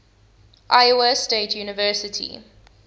iowa state university